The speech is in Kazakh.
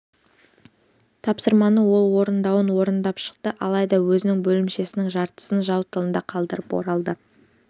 тапсырманы ол орындауын орындап шықты алайда өзінің бөлімшесінің жартысын жау тылында қалдырып оралды